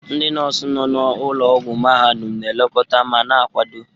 Ndị nọọsụ nọ na ụlọ ọgwụ mahadum na-elekọta ma na-akwado.